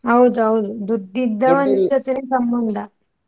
ಹೌದೌದು ಸಂಬಂಧ.